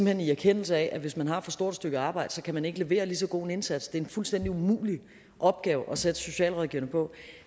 hen i erkendelse af at hvis man har for stort et stykke arbejde kan man ikke levere en lige så god indsats det er en fuldstændig umulig opgave at sætte socialrådgiverne på